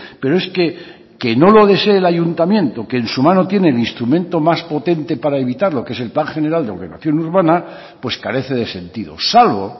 pero es que no lo desee el ayuntamiento que en su mano tiene el instrumento más potente para evitarlo que es el plan general de ordenación urbana pues carece de sentido salvo